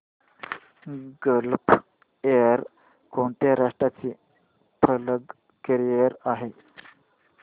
gulf Air कोणत्या राष्ट्राची flag carrier आहे